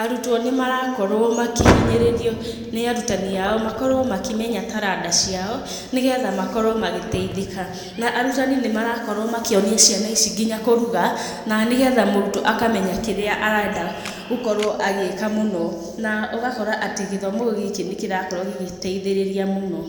arutwo nĩ marakorwo makĩhinyĩrĩrio nĩ arutani ao, makorwo makĩmenya taranda ciao, nĩgetha makorwo magĩteithĩka. Na arutani nĩmarakorwo makĩonia nginya ciana ici kũruga na nĩgetha mũrutwo akamenya kĩrĩa arenda gũkorwo agĩka mũno. Na ũgakora atĩ gĩthomo gĩkĩ nĩ kĩrakorwo gĩgĩteithĩrĩria mũno.